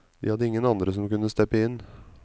De hadde ingen andre som kunne steppe inn.